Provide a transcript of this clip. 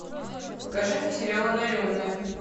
покажи мне сериал одаренные